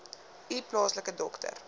u plaaslike dokter